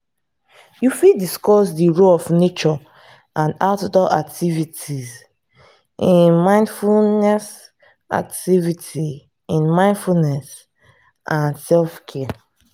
you fit discuss di role of nature and outdoor activities in mindfulness activities in mindfulness and self-care.